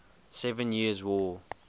seven years war